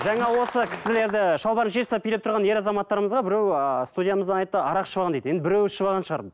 жаңа осы кісілерді шалбарын шешіп тастап билеп тұрған ер азаматтарымызға біреу ыыы студиямыздан айтты арақ ішіп алған дейді енді біреуі ішіп алған шығар